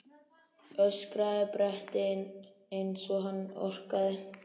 öskraði Berti eins og hann orkaði.